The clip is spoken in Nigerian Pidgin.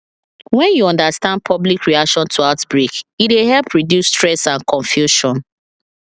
when you understand public reaction to outbreak e dey help reduce stress and confusion